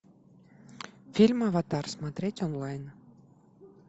фильм аватар смотреть онлайн